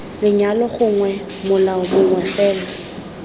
lenyalo gongwe molao mongwe fela